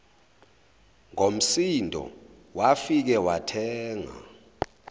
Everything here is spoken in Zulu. ngomsindo wafike wathenga